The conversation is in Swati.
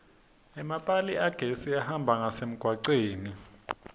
emapali agesi ahamba ngasemgwaceni